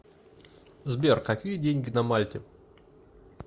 сбер какие деньги на мальте